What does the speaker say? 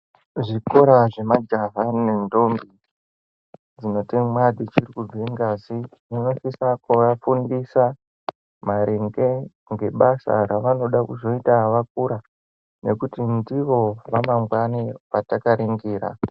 Zvikora zvemajaha nendombi dzichiri kutemwa dzinobuda ngazi zvinosise kuvafundisa maringe ngebasa ravanoda kuzoita vakura nekuti ndivo ramangwani ratakaringira.